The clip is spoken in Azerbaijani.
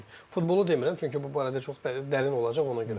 Futbolu demirəm, çünki bu barədə çox dərin olacaq, ona görə.